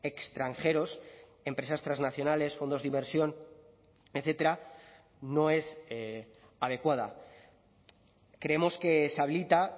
extranjeros empresas transnacionales fondos de inversión etcétera no es adecuada creemos que se habilita